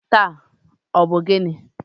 taata, ọ bụ gịnị?